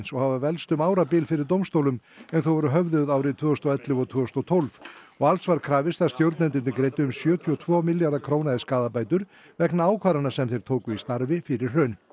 og hafa velkst um árabil fyrir dómstólum en þau voru höfðuð árin tvö þúsund og ellefu og tvö þúsund og tólf og alls var krafist að stjórnendurnir greiddu um sjötíu og tvo milljarða króna í skaðabætur vegna ákvarðana sem þeir tóku í starfi fyrir hrun